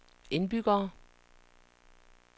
indbyggere